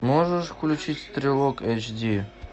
можешь включить стрелок эйч ди